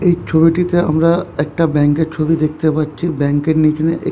এই ছবিটিতে আমরা একটা ব্যাঙ্কের ছবি দেখতে পাচ্ছি | ব্যাঙ্ক -এর নিচনে এক --